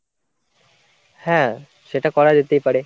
হ্যাঁ, সেটা করা যেতেই পারে।